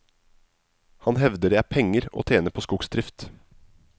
Han hevder det er penger å tjene på skogsdrift.